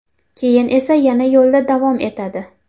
Keyin esa yana yo‘lda davom etadi.